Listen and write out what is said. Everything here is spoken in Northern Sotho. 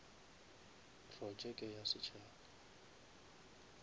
projeke ya setšhaba